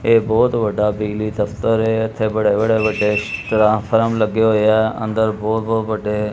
ਇਹ ਬਹੁਤ ਵੱਡਾ ਬਿਜਲੀ ਦਫ਼ਤਰ ਹੈ ਇੱਥੇ ਬੜੇ ਬੜੇ ਵੱਡੇ ਟ੍ਰਾਂਸਫਾਰਮ ਲੱਗੇ ਹੋਏ ਹੈਂ ਅੰਦਰ ਬਹੁਤ ਬਹੁਤ ਵੱਡੇ।